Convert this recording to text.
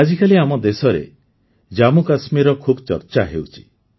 ଆଜିକାଲି ଆମ ଦେଶରେ ଜାମ୍ମୁକାଶ୍ମୀରର ଖୁବ୍ ଚର୍ଚ୍ଚା ହେଉଛି